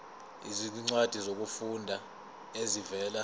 izincwadi zokufunda ezivela